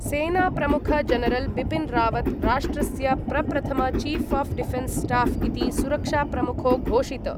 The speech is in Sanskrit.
सेनाप्रमुख जनरल् बिपिन् रावत् राष्ट्रस्य प्रप्रथम चीफ् आफ् डिफेनस् स्टाफ् इति सुरक्षाप्रमुखो घोषित।